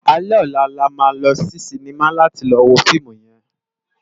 Álé òlá là má lò si sinimá láti lò wó fiimú yèn